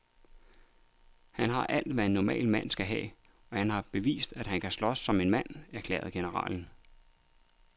Han har alt, hvad en normal mand skal have, og han har bevist, at han kan slås som en mand, erklærer generalen.